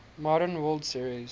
modern world series